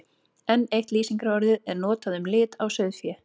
Enn eitt lýsingarorðið er notað um lit á sauðfé.